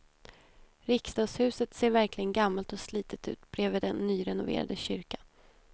Riksdagshuset ser verkligen gammalt och slitet ut bredvid den nyrenoverade kyrkan.